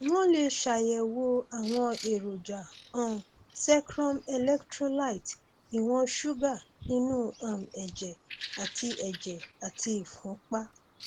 wọn lè ṣàyẹwò àwọn èròjà um secrum electrolytes ìwọn ṣúgà inú um ẹjẹ àti ẹjẹ àti ìfúnpá